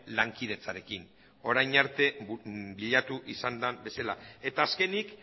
lankidetzarekin orain arte bilatu izan den bezala eta azkenik